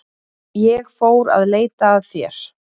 Ég fór að leita að þér.